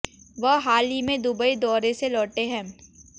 वह हाल ही में दुबई दौरे से लौटे हैं